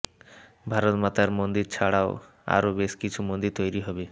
ভারতমাতার মন্দির ছাড়াও আরও বেশ কিছু মন্দির তৈরি হবে